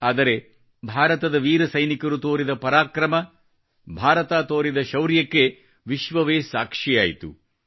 ಆದರೆ ಭಾರತದ ವೀರ ಸೈನಿಕರು ತೋರಿದ ಪರಾಕ್ರಮ ಭಾರತ ತೋರಿದ ಶೌರ್ಯಕ್ಕೆ ವಿಶ್ವವೇ ಸಾಕ್ಷಿಯಾಯಿತು